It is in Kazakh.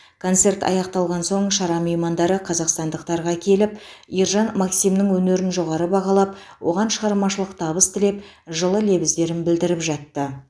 концерт аяқталған соң шара меймандары қазақстандықтарға келіп ержан максимнің өнерін жоғары бағалап оған шығармашылық табыс тілеп жылы лебіздерін білдіріп жатты